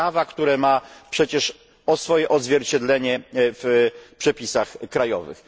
prawa, które ma przecież swoje odzwierciedlenie w przepisach krajowych.